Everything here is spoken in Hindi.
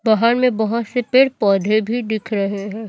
पहाड़ मे बहोत से पेड़ पौधे भी दिख रहे है।